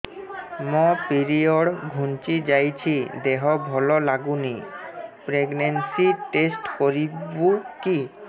ମୋ ପିରିଅଡ଼ ଘୁଞ୍ଚି ଯାଇଛି ଦେହ ଭଲ ଲାଗୁନି ପ୍ରେଗ୍ନନ୍ସି ଟେଷ୍ଟ କରିବୁ କି